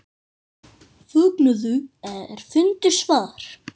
Fögnuðu er fundu svar.